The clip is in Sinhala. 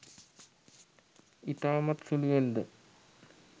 ඉතාමත් සුළුවෙන්ද